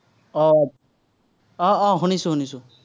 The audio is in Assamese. আহ আহ আহ শুনিছো, শুনিছো।